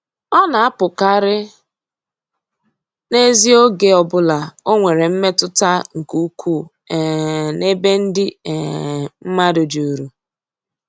Ọ na-apụkarị n'ezi oge ọ bụla o nwere mmetụta nke ukwuu um n'ebe ndị um mmadụ juru.